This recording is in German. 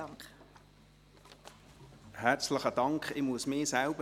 Ich muss mich selbst rügen.